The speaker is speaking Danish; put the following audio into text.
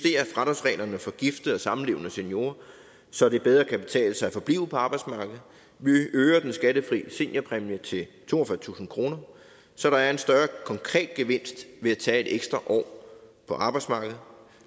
lidt for gifte og samlevende seniorer så det bedre kan betale sig at forblive på arbejdsmarkedet vi øger den skattefri seniorpræmie til toogfyrretusind kr så der er en større konkret gevinst ved at tage et ekstra år på arbejdsmarkedet